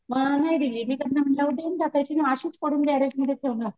मग नाही दिली मी त्यांना म्हंटल देऊन टाकायची ना अशीच पडून गॅरेजमध्ये ठेवणार.